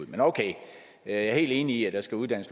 men okay jeg er helt enig i at der skal uddannes